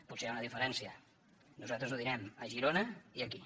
potser hi ha una diferència nosaltres ho direm a girona i aquí